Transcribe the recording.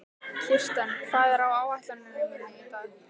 Kirsten, hvað er á áætluninni minni í dag?